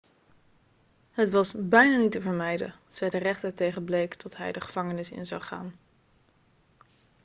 het was bijna niet te vermijden' zei de rechter tegen blake dat hij de gevangenis in zou gaan